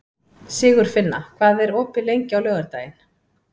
Sigurfinna, hvað er opið lengi á laugardaginn?